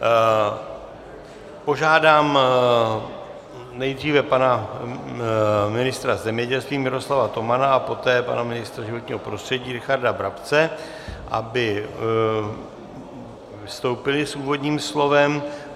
Požádám nejdříve pana ministra zemědělství Miroslava Tomana a poté pana ministra životního prostředí Richarda Brabce, aby vystoupili s úvodním slovem.